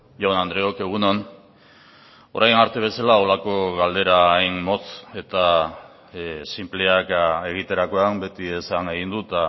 jaun andreok egun on orain arte bezala horrelako galdera hain motz eta sinpleak egiterakoan beti esan egin dut